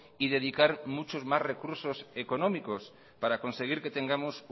y dedicar muchos más recursos económicos para conseguir que tengamos